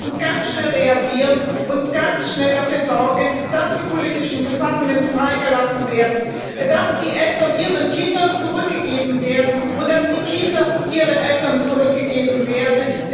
Wir müssen ganz schnell reagieren und ganz schnell dafür sorgen, dass die politischen Gefangenen freigelassen werden, dass die Eltern ihren Kindern zurückgegeben werden und dass die Kinder ihren Eltern zurückgegeben werden.